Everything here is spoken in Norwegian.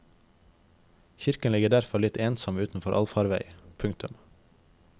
Kirken ligger derfor litt ensom utenfor alfarvei. punktum